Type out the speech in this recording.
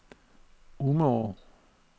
Umeå